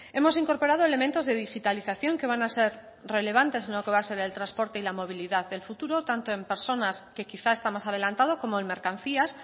hemos incorporado elementos de digitalización que van ser relevantes en lo que va a ser el trasporte y la movilidad del futuro tanto en personas que quizás está más adelantado como en mercancías